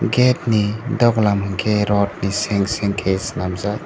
gate ni dogalam hingke rot ni seng seng ke senamjak.